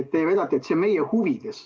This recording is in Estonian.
Te väidate, et see on meie huvides.